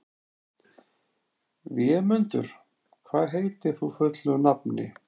Vémundur, hvað heitir þú fullu nafni?